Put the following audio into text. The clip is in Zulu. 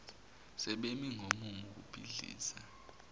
sebemi ngomumo ukubhidliza